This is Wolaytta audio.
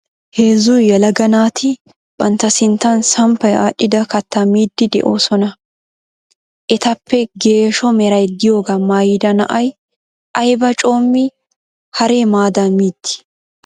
Heezzu yelaga naati bantta sinttan sampaaea aadhdhida kattaa miidi de'oosona. Etappe geeshsho meray diyooga maayyida na'ay aybba coomi hare maadan miidi?